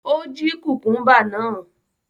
Ó jí kùkúḿbà náà?